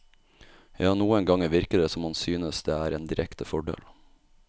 Ja, noen ganger virker det som om han synes det er en direkte fordel.